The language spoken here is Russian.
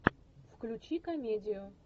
включи комедию